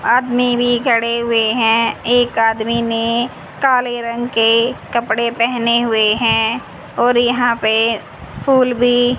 आदमी भी खड़े हुए हैं। एक आदमी ने काले रंग के कपड़े पहने हुए हैं और यहां पे फूल भी--